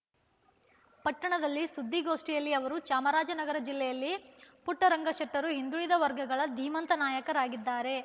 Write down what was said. ಪಟ್ಟಣದಲ್ಲಿ ಸುದ್ದಿಗೋಷ್ಟಿಯಲ್ಲಿ ಅವರು ಚಾಮರಾಜನಗರ ಜಿಲ್ಲೆಯಲ್ಲಿ ಪುಟ್ಟರಂಗಶೆಟ್ಟರು ಹಿಂದುಳಿದ ವರ್ಗಗಳ ಧೀಮಂತ ನಾಯಕರಾಗಿದ್ದಾರೆ